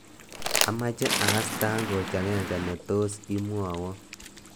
Amache akass tangoch agenge netos imwowo